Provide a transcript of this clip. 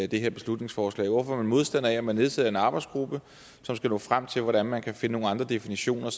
det her beslutningsforslag hvorfor er man modstander af at man nedsætter en arbejdsgruppe som skal nå frem til hvordan man kan finde nogle andre definitioner